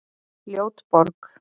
Ljót borg